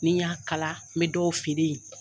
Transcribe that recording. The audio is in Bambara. Ni n y'a kala n bɛ dɔw feere yen.